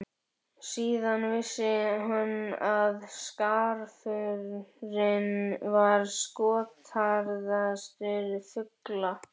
Síðan vissi hann að skarfurinn var skotharðastur fugla.